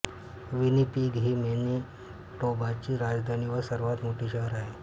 Winnipeg ही मॅनिटोबाची राजधानी व सर्वात मोठे शहर आहे